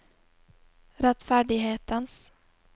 rettferdighetens